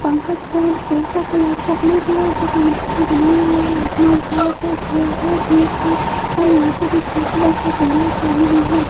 पंखा stand coat का colour चॉकलेटी है जो कांच पे बनाया हुआ है आसमान साफ है क्लियर है धूप है और यहां पे भी स्कूटी और फोर व्हीलर खड़ी हुई है।